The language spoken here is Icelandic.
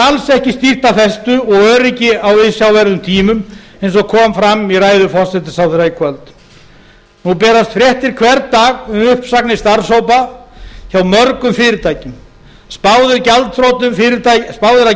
alls ekki stýrt af festu og öryggi á viðsjárverðum tímum eins og kom fram í ræðu forsætisráðherra í kvöld nú berast fréttir hvern dag um uppsagnir starfshópa hjá mörgum fyrirtækjum spáð er að